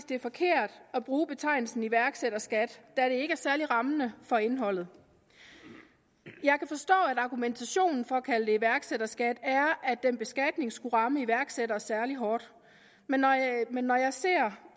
det er forkert at bruge betegnelsen iværksætterskat da det ikke er særlig rammende for indholdet jeg kan forstå at argumentationen for at kalde det iværksætterskat er at den beskatning skulle ramme iværksættere særlig hårdt men men når jeg ser